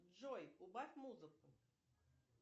джой убавь музыку